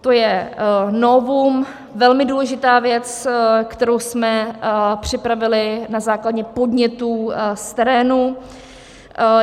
To je novum, velmi důležitá věc, kterou jsme připravili na základě podnětů z terénu.